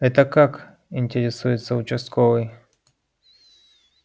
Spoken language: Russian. это как интересуется участковый